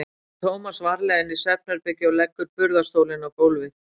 Hún ber Tómas varlega inn í svefnherbergi og leggur burðarstólinn á gólfið.